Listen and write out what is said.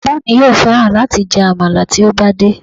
Bàbá mi yóò fẹ́ran láti jẹ àmàlà tí ó bá dé